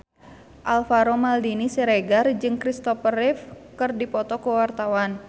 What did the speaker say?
Alvaro Maldini Siregar jeung Christopher Reeve keur dipoto ku wartawan